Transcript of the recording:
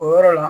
O yɔrɔ la